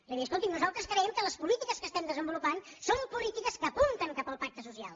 és a dir escolti’m nosaltres creiem que les polítiques que estem desenvolupant són polítiques que apunten cap al pacte social